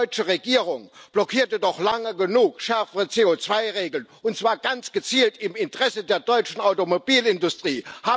Die deutsche Regierung blockierte doch lange genug schärfere CO2 Regeln, und zwar ganz gezielt im Interesse der deutschen Automobilindustrie.